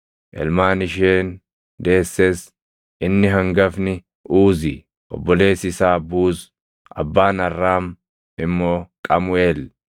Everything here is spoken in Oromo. ilmaan isheen deesses inni hangafni Uuzi, obboleessi isaa Buuz, abbaan Arraam immoo Qamuʼeel,